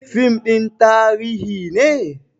Fim ɗin tarihi ne?